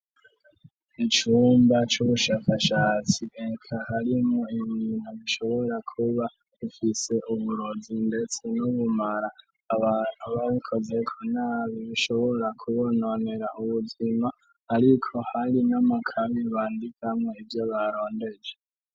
Icumba c'ubushakashatsi bika harimo innintu gishobora kuba ufise uburozi, ndetse no bumara aba wukoze ko nabi bishobora kubononera ubuzima, ariko hari inyama kami bandikamwo ivyo barondeje.